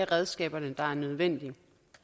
redskaber der er nødvendig